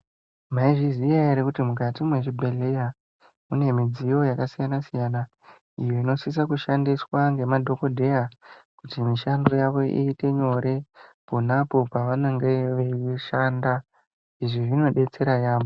Maizviziya ere, kuti mukati mwezvibhedheya ,mune midziyo yakasiyana-siyana, iyo inosisa kushandiswa ngemadhokodheya kuti mishando yavo iite nyore, pona apo pevanenge veishanda. Izvi zvinodetsera yaampho.